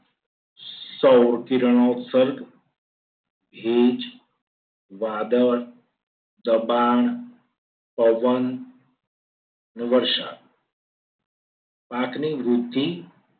સૌકિરણો સર્ગ ભેજ, વાદળ, દબાણ, પવન અને વરસાદ પાકની વૃદ્ધિ